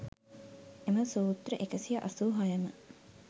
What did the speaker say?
එම සූත්‍ර 186 ම